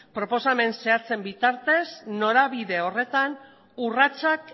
proposamen zehatzen bitartez norabide horretan urratsak